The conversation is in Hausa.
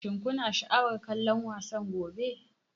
Shin kuna sha'awar kallon wasan gobe?